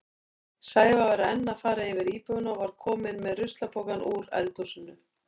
Sævar var enn að fara yfir íbúðina og var kominn með ruslapokann úr eldhúsinu.